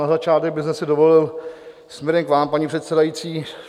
Na začátek bych si dovolil směrem k vám, paní předsedající.